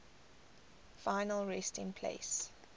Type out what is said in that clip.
final resting place